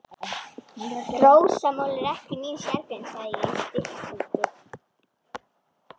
Rósamál er ekki mín sérgrein, sagði ég í styttingi.